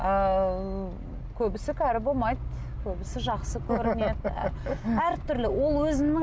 ыыы көбісі кәрі болмайды көбісі жақсы көрінеді әртүрлі